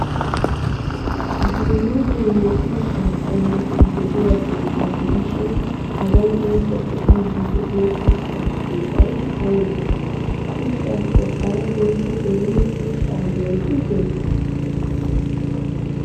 Dumma dumma ushshaa qommoti de'iyageeta gidishin hagan intte be'iiddi de'iyo ushshaa sunttay aybee? Ha ushshaappe hara intte eriyo ushshaa yootuuteetii?